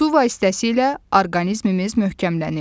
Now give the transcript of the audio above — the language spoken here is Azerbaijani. Su vasitəsilə orqanizmimiz möhkəmlənir.